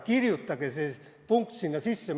Kirjutage see punkt sinna sisse!